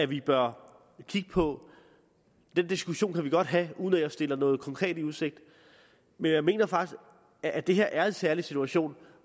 vi bør kigge på den diskussion kan vi godt have uden at jeg stiller noget konkret i udsigt men jeg mener faktisk at det her er en særlig situation